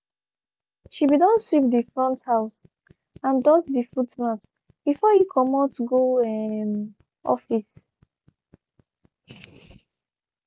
she be don sweep dey front house and dust dey footmat before e comot go um office.